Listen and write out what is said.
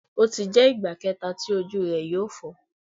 O ti jẹ igba kẹta ti oju rẹ yoo fọ